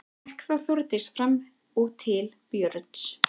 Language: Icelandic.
Gekk þá Þórdís fram og til Björns.